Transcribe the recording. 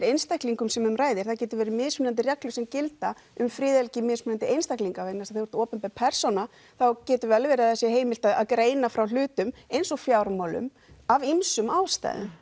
einstaklingum sem um ræðir það getur verið mismunandi reglur sem gilda um friðhelgi mismunandi einstaklinga vegna þess að þegar þú ert opinber persóna þá getur vel verið að það sé heimilt að greina frá hlutum eins og fjármálum af ýmsum ástæðum